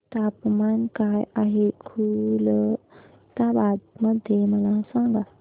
तापमान काय आहे खुलताबाद मध्ये मला सांगा